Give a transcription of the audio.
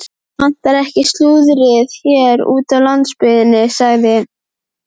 Það vantar ekki slúðrið hér úti á landsbyggðinni sagði